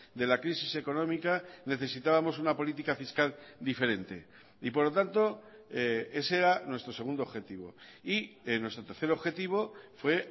de la crisis económica necesitábamos una política fiscal diferente y por lo tanto ese era nuestro segundo objetivo y nuestro tercer objetivo fue